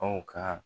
Aw ka